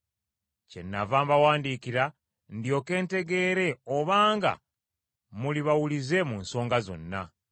Kyennava mbawandiikira ndyoke ntegeere obanga muli bawulize mu nsonga zonna.